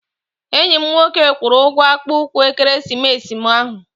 Enyi m nwoke kwụrụ ụgwọ akpụ ụkwụ ekeresimesi m ahụ.